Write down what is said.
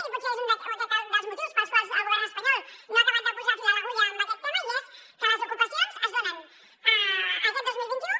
i potser és aquest un dels motius pels quals el govern espanyol no ha acabat de posar fil a l’agulla en aquest tema i és que les ocupacions es donen aquest dos mil vint u